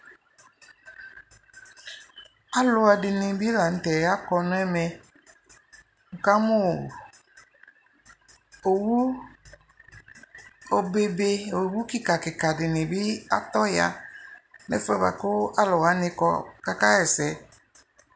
alu ɛdini bi la ŋu tɛ akɔ n'ɛmɛ ni ka mu owu obe - obe kika kika dini ya ɛfuɛ bua ku alu wani kɔ ku aka yɛ sɛ